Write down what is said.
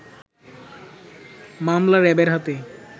মামলা র‌্যাবের হাতে